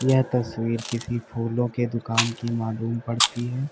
यह तस्वीर किसी फूलों के दुकान की मालूम पड़ती है।